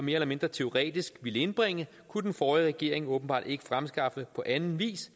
eller mindre teoretisk ville indbringe kunne den forrige regering åbenbart ikke fremskaffe på anden vis